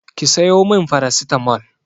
Ki sayo min farasitamol!